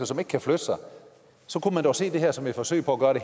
som ikke kan flytte sig så kunne man dog se det her som et forsøg på at